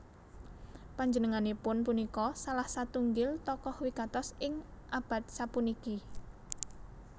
Panjenenganipun punika salah satunggil tokoh wigatos ing abad sapuniki